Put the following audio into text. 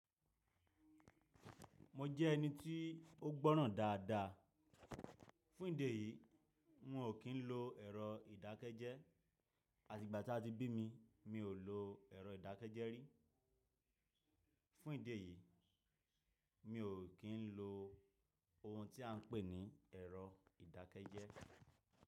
Mo jẹ́ ẹni tí ó gbọ́ràn dáadáa. Fún ìdí èyí, un ò kí ń lo ẹ̀rọ ìdákẹ́jẹ́. Àti ìgbà tí a ti bí mi, mí ò lo ẹ̀rọ ìdákẹ́jẹ́ rí. Fún ìdí èyí, mi ò kí ń lo ohun tí à ń pè ní ẹ̀rọ ìdákẹ́jẹ́.